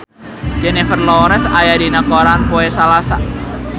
Jennifer Lawrence aya dina koran poe Salasa